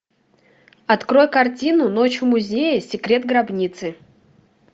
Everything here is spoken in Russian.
открой картину ночь в музее секрет гробницы